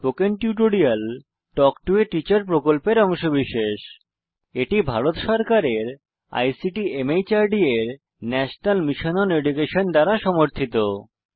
spoken tutorial talk to a teacher প্রকল্পের অংশবিশেষ এটি ভারত সরকারের আইসিটি মাহর্দ এর ন্যাশনাল মিশন ওন এডুকেশন দ্বারা সমর্থিত